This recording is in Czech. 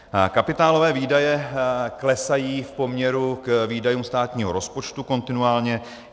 Kapitálové výdaje klesají v poměru k výdajům státního rozpočtu kontinuálně.